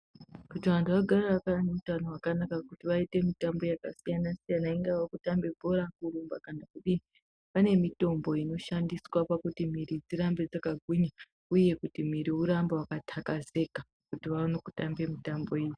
Kuti vantu vagare vaka vane utano hwakanaka kuti vaite mitambo yakasiyana siyana ingava kutambe bhora, kurumba kana kudii pane mitombo inoshandiswa pakuti mumwiri dzirambe dzakagwinya uye kuti muwiri urambe wakatakazeka kuti vaone kutamba mitambo iyo.